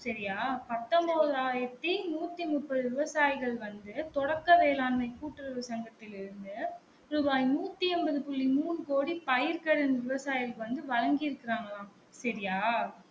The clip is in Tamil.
சரியா? பத்தொன்பது ஆயிரத்தி நூத்தி முப்பது விவசாயிகள் வந்து தொடக்க வேளாண்மை கூட்டு உறவு சங்கத்தில் இருந்து ரூபாய் நூத்தி ஐம்பது புள்ளி மூன்னு கோடி வந்து பயிர்கள் விவசாயிகளுக்கு வந்து வழங்கி இருக்கராங்கலாம் சரியா?